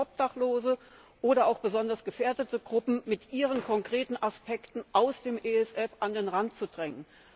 Obdachlose oder auch besonders gefährdete Gruppen mit ihren konkreten Aspekten aus dem ESF an den Rand zu drängen.